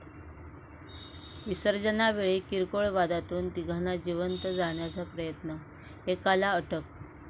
विसर्जनावेळी किरकोळ वादातून तिघांना जिवंत जाळण्याचा प्रयत्न, एकाला अटक